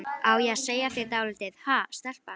Á ég að segja þér dálítið, ha, stelpa?